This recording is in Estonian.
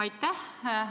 Aitäh!